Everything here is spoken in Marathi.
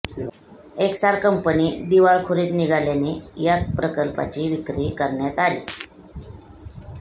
एस्सार कंपनी दिवाळखोरीत निघाल्याने या प्रकल्पाची विक्री करण्यात आली